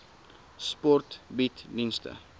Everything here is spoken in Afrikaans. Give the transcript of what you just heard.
sport bied dienste